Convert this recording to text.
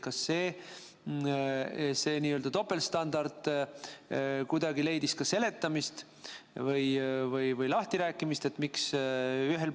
Kas see n-ö topeltstandard leidis kuidagi seletamist või lahtirääkimist?